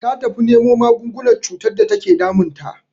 Ta tafi nemo magungunan cutar da take damun ta.